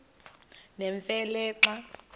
nemfe le xa